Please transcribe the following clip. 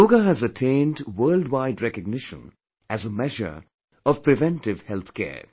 Yoga has attained worldwide recognition as a measure of preventive health care